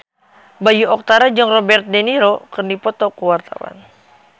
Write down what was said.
Bayu Octara jeung Robert de Niro keur dipoto ku wartawan